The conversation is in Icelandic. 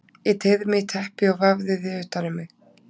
Ég teygði mig í teppi og vafði því utan um mig.